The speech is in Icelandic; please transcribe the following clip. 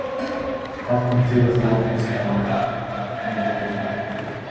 Hvað kom til að þú ákvaðst að að fara norður á Akureyri?